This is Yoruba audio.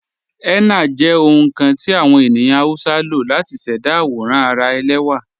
Henna jẹ ohun kan ti awọn ènìyàn Hausa ló látì ṣẹda awòràn ara èlẹwa.